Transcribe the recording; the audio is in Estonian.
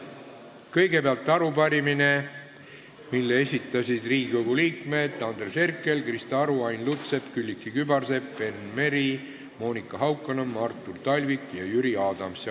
Kõigepealt arupärimine, mille esitasid Riigikogu liikmed Andres Herkel, Krista Aru, Ain Lutsepp, Külliki Kübarsepp, Enn Meri, Monika Haukanõmm, Artur Talvik ja Jüri Adams.